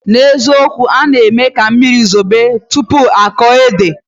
Na ezikowu, ona enye ka mmiri zobe tupu oko ede.